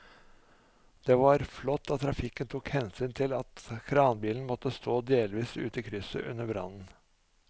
Det var flott at trafikken tok hensyn til at kranbilen måtte stå delvis ute i krysset under brannen.